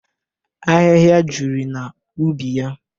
Ahịhịa juru na ubi yaa.